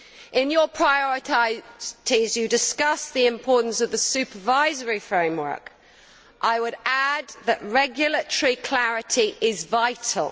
In your priorities you discuss the importance of the supervisory framework. I would add that regulatory clarity is vital.